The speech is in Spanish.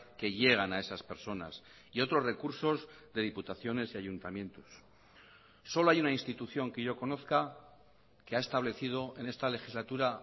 que llegan a esas personas y otros recursos de diputaciones y ayuntamientos solo hay una institución que yo conozca que ha establecido en esta legislatura